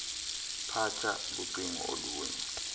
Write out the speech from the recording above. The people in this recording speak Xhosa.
phatsha lucingo oluye